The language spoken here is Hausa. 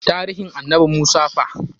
Taarihin annabi Musa fa?